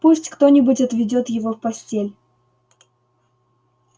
пусть кто-нибудь отведёт его в постель